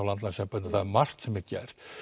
landlæknisembættinu það er margt sem er gert